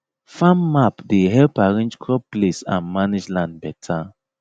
farm map dey help arrange crop place and manage land better